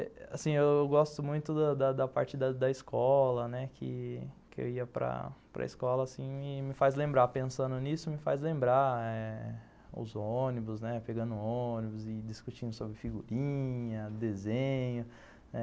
E, assim, eu gosto muito da da da parte da da escola, né, que que eu ia para para escola, assim, e me faz lembrar, pensando nisso, me faz lembrar eh os ônibus, né, pegando ônibus e discutindo sobre figurinha, desenho.